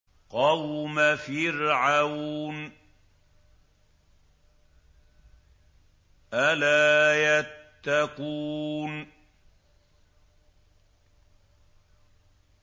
قَوْمَ فِرْعَوْنَ ۚ أَلَا يَتَّقُونَ